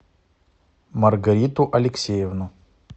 маргариту алексеевну